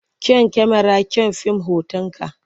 Kyan kyamararka kyan fim hotonka.